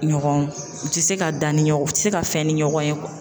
Ɲɔgɔn u te se ka da ni ɲɔgɔn ,u te se ka fɛn ni ɲɔgɔn ye